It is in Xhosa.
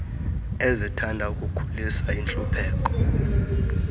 ezithanda ukukhulisa intlupheko